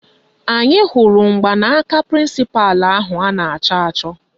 Anyị hụrụ mgbanaka prịnsịpalụ ahụ a na-achọ achọ